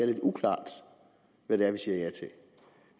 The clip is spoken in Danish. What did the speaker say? lidt uklart hvad det er vi siger